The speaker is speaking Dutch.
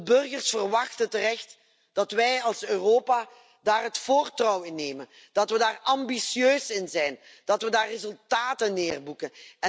De burgers verwachten terecht dat wij als Europa daar het voortouw in nemen, dat we daar ambitieus in zijn, dat we daar resultaten mee boeken.